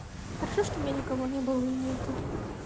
хорошо что у меня никого не было и нет